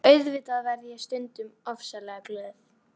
Auðvitað verð ég stundum ofsalega glöð.